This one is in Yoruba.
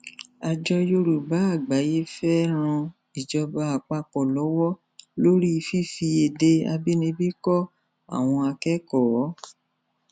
àjọ yorùbá àgbáyé fẹẹ ran ìjọba àpapọ lọwọ lórí fífi èdè àbínibí kọ àwọn akẹkọọ